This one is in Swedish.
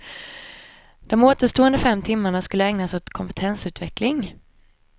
De återstående fem timmarna skulle ägnas åt kompetensutveckling.